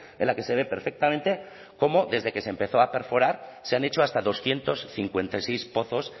en la que se ve perfectamente cómo desde que se empezó a perforar se han hecho hasta doscientos cincuenta y seis pozos